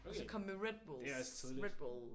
Okay det er også tidligt